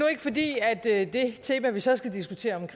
det er fordi det tema vi så skal diskutere